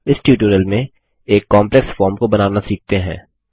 इस ट्यूटोरियल में एक कॉम्प्लेक्स फॉर्म को बनाना सीखते हैं